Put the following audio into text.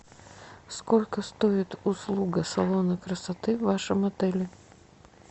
сколько стоит услуга салона красоты в вашем отеле